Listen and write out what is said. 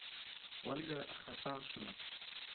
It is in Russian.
ольга хасаншина